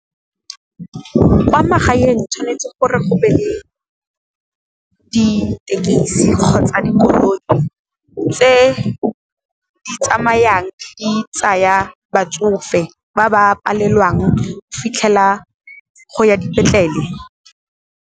Kwa magaeng tshwanetse gore go be le, ditekisi kgotsa dikoloi tse di tsamayang di tsaya batsofe ba ba palelwang fitlhela go ya dipetlele.